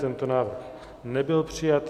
Tento návrh nebyl přijat.